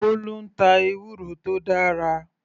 Bolu ń ta ewúro tó dára.